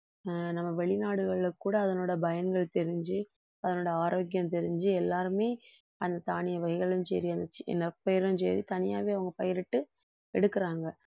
ஆஹ் நம்ம வெளிநாடுகள்ல கூட அதனோட பயன்கள் தெரிஞ்சு அதனுடைய ஆரோக்கியம் தெரிஞ்சு எல்லாருமே அந்த தானிய வகைகளும் சரி சரி தனியாவே அவங்க பயிரிட்டு எடுக்கறாங்க